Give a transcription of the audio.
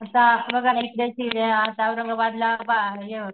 आता बघा ना आता औरंगाबादला पहा य